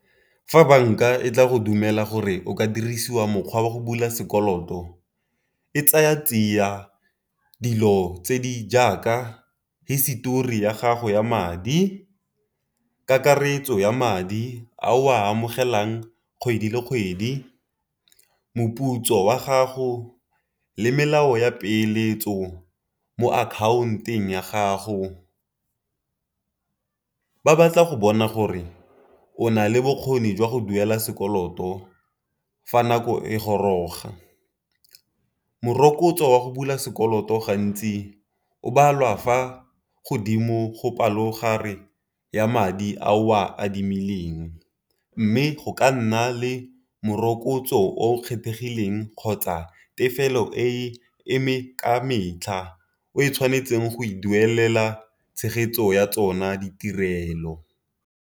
Fa banka e tla go dumela gore o ka dirisiwa mokgwa wa go bula sekoloto, e tsaya tsia dilo tse di jaaka hisetori ya gago ya madi, kakaretso ya madi a o a amogelang kgwedi le kgwedi, moputso wa gago, le melao ya peeletso mo account-eng ya gago. Ba batla go bona gore o nale bokgoni jwa go duela sekoloto fa nako e goroga, morokotso wa go bula sekoloto gantsi o balwa fa godimo go palo gare ya madi a o a adimileng. Mme go ka nna le morokotso o o kgethegileng kgotsa tefelo e eme ka metlha o e tshwanetseng go e duelela tshegetso ya tsona ditirelo.